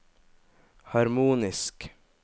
harmonisk